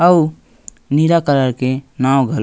आउ नीला कलर के नाव घल--